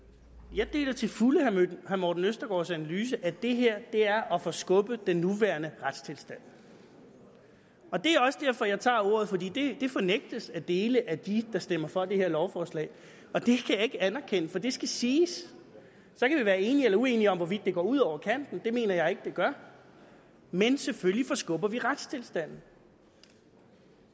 jeg deler til fulde herre morten østergaards analyse altså at det her er at forskubbe den nuværende retstilstand og det er også derfor jeg tager ordet for det fornægtes af dele af dem der stemmer for det her lovforslag og det kan jeg ikke anerkende for det skal siges så kan vi være enige eller uenige om hvorvidt det går ud over kanten det mener jeg ikke det gør men selvfølgelig forskubber vi retstilstanden